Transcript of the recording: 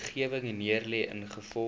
wetgewing neergelê ingevolge